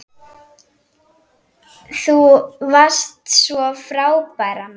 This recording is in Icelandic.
Þú varst svo frábær amma.